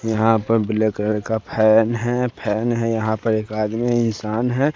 यहां पर black colour का फैन है फैन है यहां पर एक आदमी इंसान है।